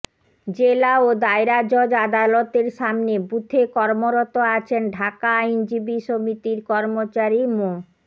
জেলা ও দায়রা জজ আদালতের সামনের বুথে কর্মরত আছেন ঢাকা আইনজীবী সমিতির কর্মচারী মো